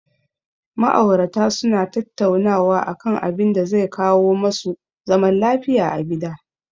Ma'aurata su na tattaunawa a kan abinda zai kawo ma su zaman lafiya a gida